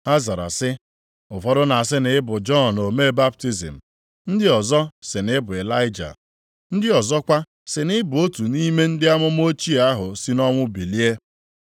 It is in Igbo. Ha zara sị, “Ụfọdụ na-asị na ị bụ Jọn omee baptizim, ndị ọzọ sị na ị bụ Ịlaịja, ndị ọzọkwa, sị na ị bụ otu nʼime ndị amụma ochie ahụ si nʼọnwụ bilie.”